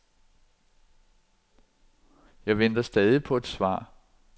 Jeg venter stadig på et svar.